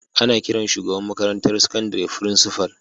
Ana kiran shugaban makarantar sakandire Frincifal.